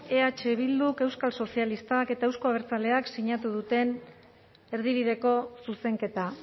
eh bilduk euskal sozialistak eta euzko abertzaleek sinatu duten erdibideko zuzenketa